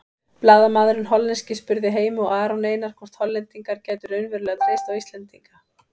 Blaðamaðurinn hollenski spurði Heimi og Aron Einar hvort Hollendingar gætu raunverulega treyst á Íslendinga.